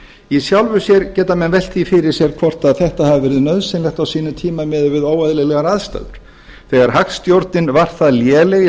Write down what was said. í sjálfu sér geta menn velt því fyrir sér hvort þetta hafi verið nauðsynlegt á sínum tíma miðað við óeðlilegar aðstæður þegar hagstjórnin var það léleg í